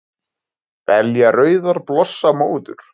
Belja rauðar blossa móður